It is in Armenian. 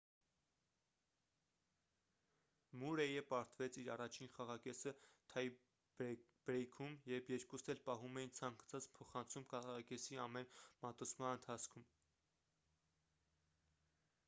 մուրեյը պարտվեց իր առաջին խաղակեսը թայ-բրեյքում երբ երկուսն էլ պահում էին ցանկացած փոխանցում խաղակեսի ամեն մատուցման ընթացքում